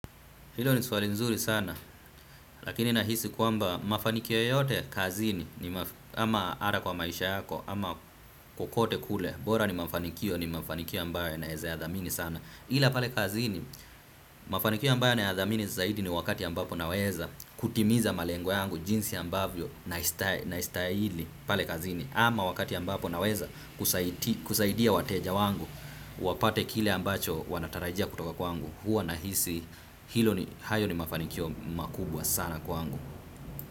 Hilo ni swali nzuri sana, lakini nahisi kwamba mafanikio yote kazini, ama ara kwa maisha yako, ama kukote kule, bora ni mafanikio, ni mafanikio ambayo naeze yadhamini sana. Ila pale kazini, mafanikio ambaye nayadhamini zaidi ni wakati ambapo naweza kutimiza malengo yangu, jinsi ambavyo nastahili pale kazini, ama wakati ambapo naweza kusaidia wateja wangu, wapate kile ambacho wanatarajia kutoka kwangu. Huwa nahisi hilo ni hayo ni mafanikio makubwa sana kwa angu.